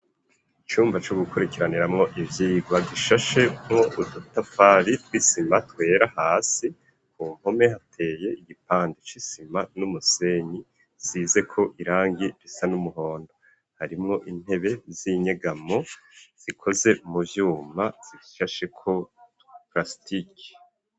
Icumba co gukurikiraniramwo ivyigwa, gishashemwo udutafari tw'isima twera, hasi ku mpome hateye igipande c'isima n'umusenyi zizeko irangi risa n'umuhondo, harimwo intebe z'inyegamo zikoze mu vyuma zishasheko prasitike.